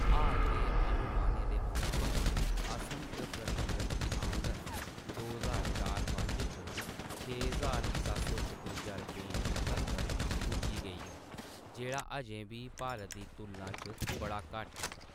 हाल दे अनुमानें दे मताबक, असम च प्रति व्यक्ति आमदन दो ज्हार चार पंज च छे ज्हार सत्त सौ छपुंजा रपेंऽ तक्कर पुज्जी गेई ऐ, जेह्‌‌ड़ा अजें बी भारत दी तुलना च बड़ा घट्ट ऐ।